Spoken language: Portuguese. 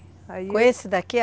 Com esse daqui?